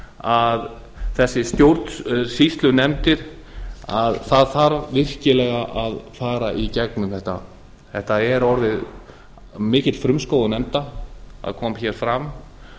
að þessar stjórnsýslunefndir að það þarf virkilega að fara í gegnum þetta þetta er orðið mikill frumskógur nefnda það kom hér fram